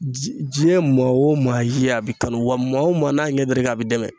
Diɲɛ maa o maa i ye a b'i kanu wa maa o maa n'a ɲɛ dara i kan a b'i dɛmɛ.